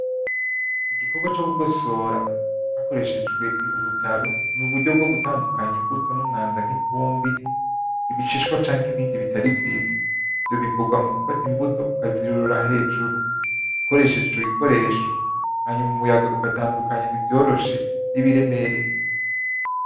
Igikorwa co kugosora hakoreshejwe urutaro ni uburyo bwo gutandukanya imbuto n' umwanda nk'ivumbi, ibishishwa canke ibindi bitari vyiza. Ivyo bikorwa mu gufata imbuto ukazirurira hejuru ukoresheje ico gikoresho hanyuma umuyaga ugatandukanya ivyoroshe n'ibiremereye.